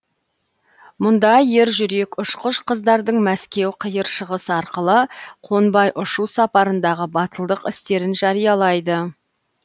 мұнда ер жүрек ұшқыш қыздардың мәскеу қиыр шығыс арқылы қонбай ұшу сапарындағы батылдық істерін жариялайды